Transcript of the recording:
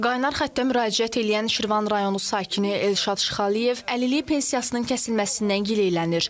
Qaynar xəttə müraciət eləyən Şirvan rayonu sakini Elşad Şıxəliyev əlillik pensiyasının kəsilməsindən gileylənir.